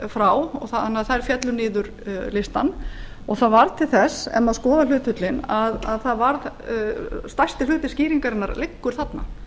frá þannig að þær féllu niður listann það varð til þess ef maður skoðar hlutföllin að stærsti hluti skýringarinnar liggur þarna